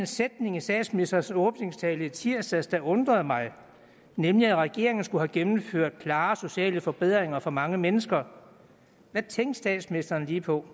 sætning i statsministerens åbningstale i tirsdags der undrede mig nemlig at regeringen skulle have gennemført klare sociale forbedringer for mange mennesker hvad tænkte statsministeren lige på